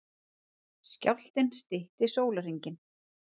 Skjálftinn stytti sólarhringinn